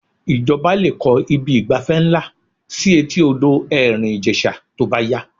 Ìjọba lè kọ́ ibi ìgbafẹ́ ńlá sí etí odò Ẹ̀rìn Ìjẹ̀ṣà tó bá yá